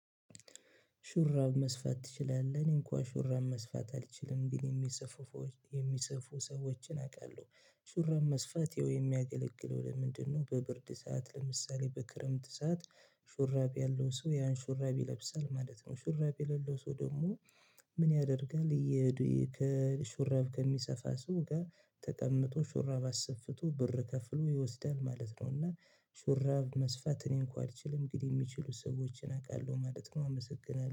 ሹራብ መስፋት ትችላለህ? እኔ እንኳን ሹራብ መስፋት አልችልም ግን የሚሰፉ ሰዎችን አውቃለሁ። ሹራብ መስፋት የሚያገለግለው ለምንድነው? በብርድ ሰዓት ለምሳሌ በክረምት ሰዓት ሹራብ ያለው ሰው ያን ሹራብ ይለብሳል ማለት ነው። ሹራብ የሌለው ሰው ደግሞ ምን ያደርጋል? ይሄ የሹራብ ከሚሰፋ ሰው ጋር ተቀምጦ ሹራብ አስፍቶ ብር ከፍሎ ይወስዳል ማለት ነው። እና ሹራብ መስፋት እኔ እንኳ አልችልም እንግዲህ የሚችሉ ሰዎችን አውቃለሁ ማለት ነው። አመሰግናለሁ